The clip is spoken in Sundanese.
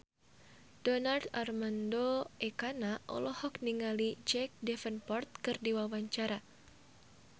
Donar Armando Ekana olohok ningali Jack Davenport keur diwawancara